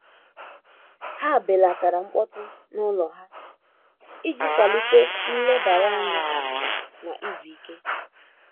Ha belatara mkpọtụ n’ụlọ ha iji kwalite nlebara anya na izu ike.